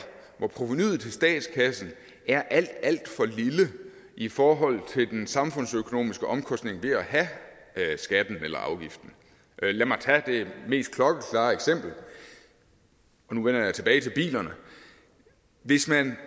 hvor provenuet til statskassen er alt alt for lille i forhold til den samfundsøkonomiske omkostning ved at have skatten eller afgiften lad mig tage det mest klokkeklare eksempel og nu vender jeg tilbage til bilerne hvis man